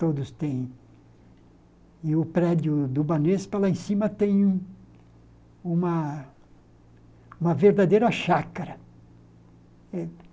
Todos têm... E o prédio do Banespa, lá em cima, tem uma uma verdadeira chácara.